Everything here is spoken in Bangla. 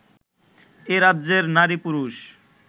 এ রাজ্যের নারী পুরুষ